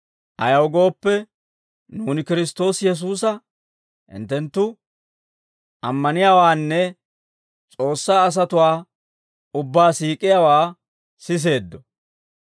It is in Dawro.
Ayaw gooppe, nuuni Kiristtoosi Yesuusa hinttenttu ammaniyaawaanne S'oossaa asatuwaa ubbaa siik'iyaawaa siseeddo.